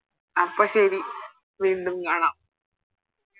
അപ്പൊ ശരി വീണ്ടും കാണാം